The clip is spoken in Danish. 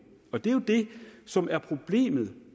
og det er jo det som er problemet